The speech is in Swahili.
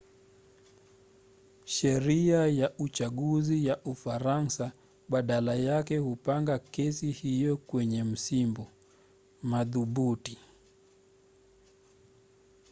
sheria ya uchaguzi ya ufaransa badala yake hupanga kesi hiyo kwenye msimbo. madhubuti